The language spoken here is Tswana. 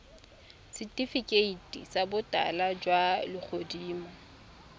setifikeiti sa botala jwa legodimo